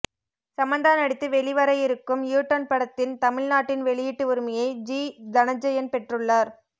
சமந்தா நடித்து வெளிவரவிருக்கும் U turn படத்தின் தமிழ் நாட்டின் வெளியிட்டு உரிமையை ஜி தனஞ்செயன் பெற்றுள்ளார்